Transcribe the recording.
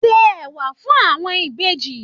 Wọn ṣe ẹwà fún àwọn Ìbejì.